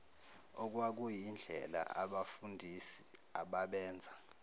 okwakuyindlela abafundisi ababenza